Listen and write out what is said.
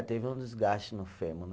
Teve um desgaste no fêmur, né?